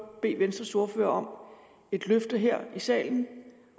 bede venstres ordfører om at et løfte her i salen